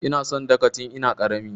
Ina son Dhaka tin ina ƙarami.